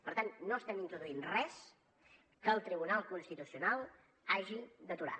per tant no estem introduint res que el tribunal constitucional hagi d’aturar